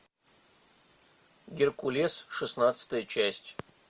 геркулес шестнадцатая часть